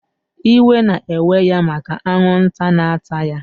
Iwe na eweya maka anwụnta na ata ya